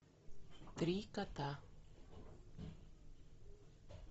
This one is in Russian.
три кота